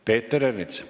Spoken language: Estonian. Peeter Ernits.